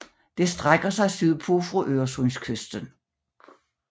Det strækker sig sydpå fra Øresundskysten